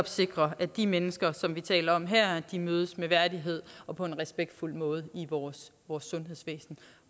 sikre at de mennesker som vi taler om her mødes med værdighed og på en respektfuld måde i vores sundhedsvæsen